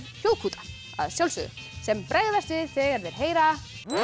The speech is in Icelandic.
hljóðkúta að sjálfsögðu sem bregðast við þegar þeir heyra